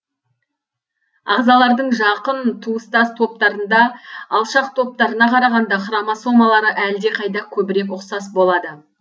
ағзалардың жақын туыстас топтарында алшақ топтарына қарағанда хромосомалары әлдеқайда көбірек ұқсас болады